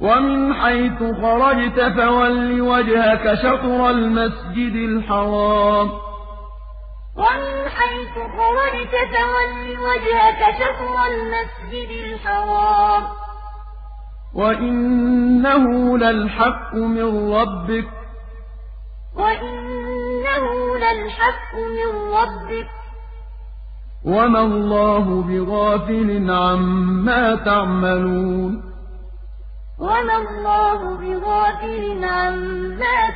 وَمِنْ حَيْثُ خَرَجْتَ فَوَلِّ وَجْهَكَ شَطْرَ الْمَسْجِدِ الْحَرَامِ ۖ وَإِنَّهُ لَلْحَقُّ مِن رَّبِّكَ ۗ وَمَا اللَّهُ بِغَافِلٍ عَمَّا تَعْمَلُونَ وَمِنْ حَيْثُ خَرَجْتَ فَوَلِّ وَجْهَكَ شَطْرَ الْمَسْجِدِ الْحَرَامِ ۖ وَإِنَّهُ لَلْحَقُّ مِن رَّبِّكَ ۗ وَمَا اللَّهُ بِغَافِلٍ عَمَّا